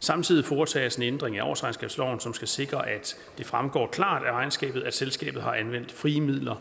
samtidig foretages en ændring af årsregnskabsloven som skal sikre at det fremgår klart af regnskabet at selskabet har anvendt frie midler